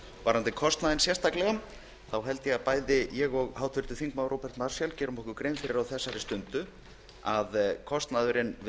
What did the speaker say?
varðandi kostnaðinn sérstaklega þá held ég að bæði ég og háttvirtur þingmaður róbert marshall gerum okkur grein fyrir því á þessari stundu að kostnaðurinn við